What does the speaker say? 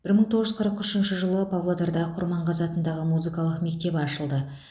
бір мың тоғыз жүз қырық үшінші жылы павлодарда құрманғазы атындағы музыкалық мектеп ашылды